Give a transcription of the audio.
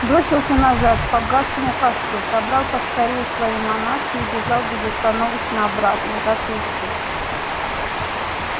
бросился назад к погасшему костру собрал поскорее свои манатки и бежал безостановочно обратно до тульской